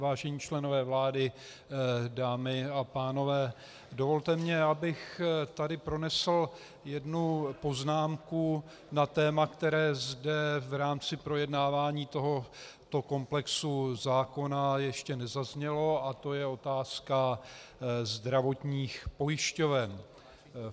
Vážení členové vlády, dámy a pánové, dovolte mi, abych tady pronesl jednu poznámku na téma, které zde v rámci projednávání tohoto komplexu zákona ještě nezaznělo, a to je otázka zdravotních pojišťoven.